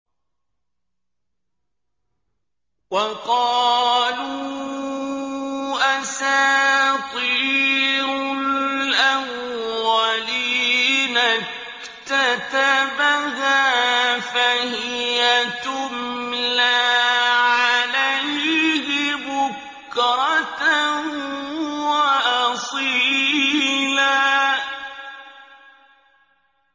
وَقَالُوا أَسَاطِيرُ الْأَوَّلِينَ اكْتَتَبَهَا فَهِيَ تُمْلَىٰ عَلَيْهِ بُكْرَةً وَأَصِيلًا